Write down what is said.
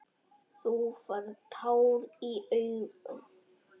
Þú færð tár í augun.